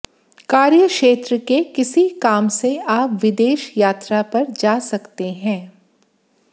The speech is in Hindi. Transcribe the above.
कार्य क्षेत्र के किसी काम से आप विदेश यात्रा पर जा सकते हैं